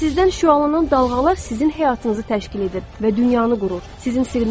Sizdən şüalanan dalğalar sizin həyatınızı təşkil edir və dünyanı qurur.